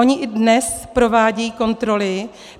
Ony i dnes provádějí kontroly.